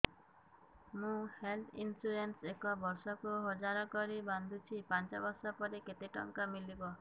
ମୁ health insurance ଏକ ବର୍ଷକୁ ହଜାର କରି ବାନ୍ଧୁଛି ପାଞ୍ଚ ବର୍ଷ ପରେ କେତେ ଟଙ୍କା ମିଳିବ